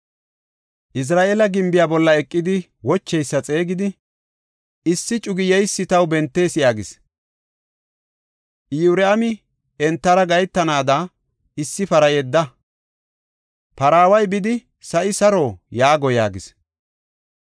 Izra7eela gimbiya bolla eqidi wocheysa xeegidi, “Issi cuga yeysa taw bentees” yaagis. Iyoraami, “Entara gahetanaada issi para yedda. Paraaway bidi, ‘Sa7i saro?’ yaago” yaagis.